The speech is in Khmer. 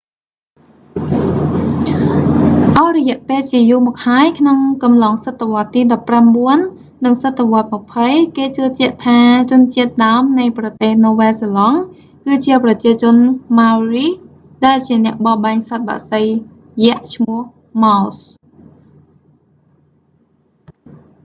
អស់រយៈពេលជាយូរមកហើយក្នុងកំឡុងសតវត្សទីដប់ប្រាំបួន និងសតវត្សម្ភៃ គេជឿជាក់ថាជនជាតិដើមនៃប្រទេសនូវែលសេឡង់ គឺជាប្រជាជន maori ដែលជាអ្នកបរបាញ់សត្វបក្សីយក្សឈ្មោះ moas